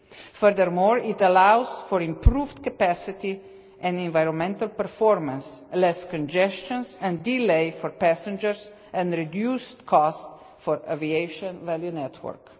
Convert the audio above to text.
Furthermore, it allows for improved capacity and environmental performance, less congestion and delays for passengers, and reduced costs for the aviation value network.